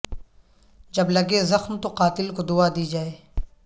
جب لگے زخم تو قاتل کو دعا دی جائے